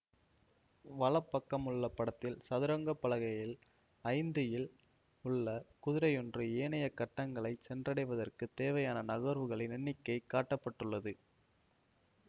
வலப்பக்கமுள்ள படத்தில் சதுரங்க பலகையில் ஐந்து இல் உள்ள குதிரையொன்று ஏனைய கட்டங்கள் சென்றடைவதற்குத் தேவையான நகர்வுகளின் எண்ணிக்கை காட்ட பட்டுள்ளது